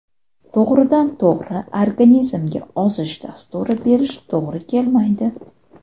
To‘g‘ridan-to‘g‘ri organizmga ozish dasturi berish to‘g‘ri kelmaydi.